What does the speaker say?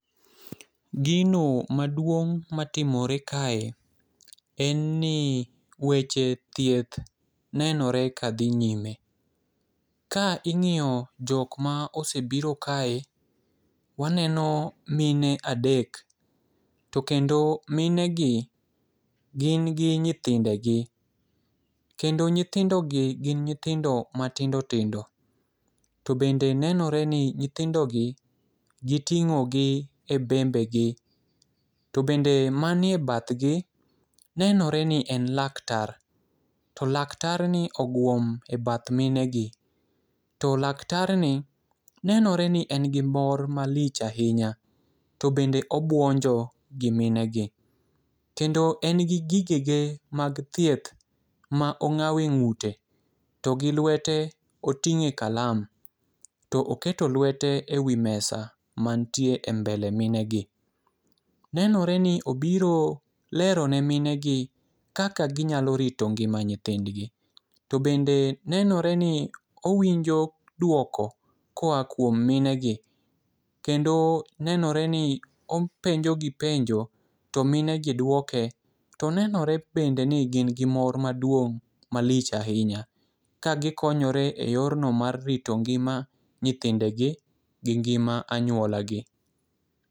Gino maduong' matimore kae en ni weche thieth nenore ka dhi nyime. Ka ing'iyo jok ma osebiro kae, waneno mine adek to kendo mine gi gin gi nyithinde gi. Kendo nyithindo gi gin nyithindo matindo tindo. To bende nenore ni nyithindo gi giting'o gi e bembe gi. To bende manie bathgi nenore ni en laktar to laktar ni oguom e bath mine gi. To laktar ni nenore ni en gi mor malich ahinya to bende obuonjo gi mine gi kendo en gi gige ge mag thieth ma ong'awe ng'ute to gi lwete oting'e kalama to oketo lwete e wi mesa mantie e mbele mine gi. Nenore ni obiro lero ne mine gi kaka ginyalo rito ngima nyithindgi. To bende nenore ni owinjo duoko koa kuom mine gi kendo nenore ni openjo gi penjo to mine gi duoke. To nenore bende ni gin gi mor maduong' malich ahinya ka gikonyore e yor no mar rito ngima nyithindegi gi ngima anyuola gi.